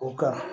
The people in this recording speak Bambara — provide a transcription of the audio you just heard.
O ka